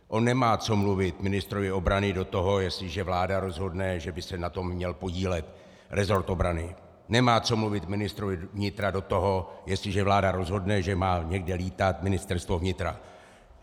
On nemá co mluvit ministrovi obrany do toho, jestliže vláda rozhodne, že by se na tom měl podílet resort obrany, nemá co mluvit ministrovi vnitra do toho, jestliže vláda rozhodne, že má někde létat Ministerstvo vnitra.